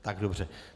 Tak dobře.